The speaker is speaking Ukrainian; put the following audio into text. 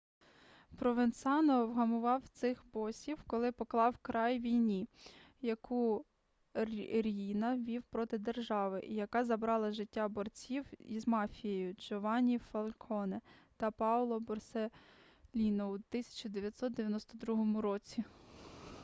провенцано вгамував цих босів коли поклав край війні яку ріїна вів проти держави і яка забрала життя борців із мафією джованні фальконе та паоло борселліно у 1992 році